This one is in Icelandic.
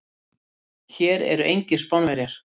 Hér eru engir Spánverjar.